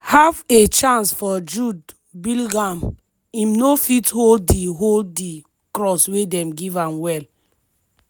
half a chance for jude bellingham im no fit hold di hold di cross wey dem give am well.